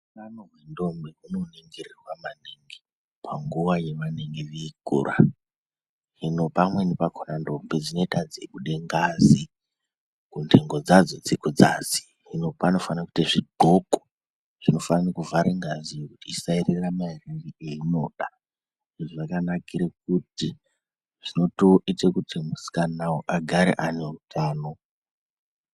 Utano hwendombi hunoningirirwa maningi panguwa yavanenge veikura hino pamweni pakhona ndombi dzinoita dzeibude ngazi kuntengo dzadzo dzekudzasi hino panofane kuite zvidxoko zvinofane kuvhare ngaziyo isaerere maerere einoda izvi zvakankire kuti zvinotoite kuti musikanawo agare ane utano.